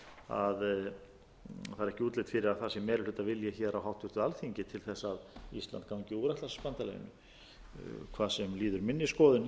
að það sé meirihlutavilji hér á háttvirtu alþingi til þess að ísland gangi úr atlantshafsbandalaginu hvað sem líður minni skoðun